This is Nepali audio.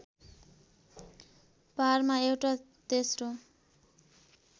पारमा एउटा तेस्रो